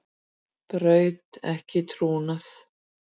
Braut ekki trúnað